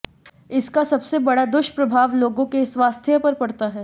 इसका सबसे बड़ा दुष्प्रभाव लोगों के स्वास्थ्य पर पड़ता है